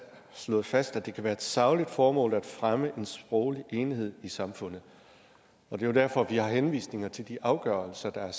slået fast at det kan være et sagligt formål at fremme en sproglig enhed i samfundet det er jo derfor vi har henvisninger til de afgørelser der er